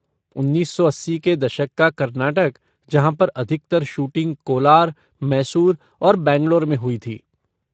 उन्नीस सौ अस्सी के दशक का कर्नाटक जहाँ पर अधिकतर शूटिंग कोलार, मैसूर और बैंगलोर में हुई थी।